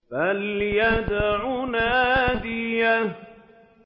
فَلْيَدْعُ نَادِيَهُ